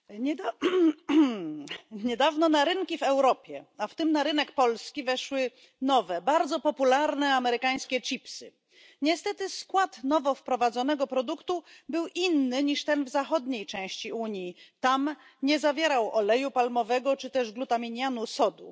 Panie Przewodniczący! Niedawno na rynki w Europie, w tym na rynek polski, weszły nowe, bardzo popularne amerykańskie chipsy. Niestety w Polsce skład nowo wprowadzonego produktu był inny niż ten w zachodniej części Unii, gdzie nie zawierał oleju palmowego ani glutaminianu sodu